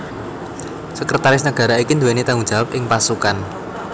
Sekretaris Negara iki nduweni tanggung jawab ing pasukan